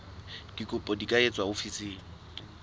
dikopo di ka etswa ofising